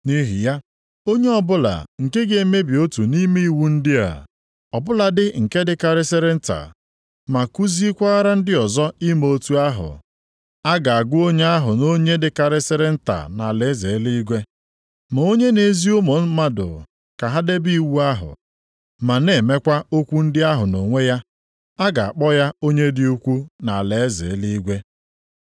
Nʼihi ya, onye ọbụla nke ga-emebi otu nʼime iwu ndị a, ọ bụladị nke dịkarịsịrị nta, ma kuziekwara ndị ọzọ ime otu ahụ, a ga-agụ onye ahụ nʼonye dịkarịsịrị nta nʼalaeze eluigwe. Ma onye na-ezi ụmụ mmadụ ka ha debe iwu ahụ, ma na-emekwa okwu ndị ahụ nʼonwe ya, a ga-akpọ ya onye dị ukwuu nʼalaeze eluigwe.